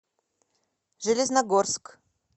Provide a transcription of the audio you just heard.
железногорск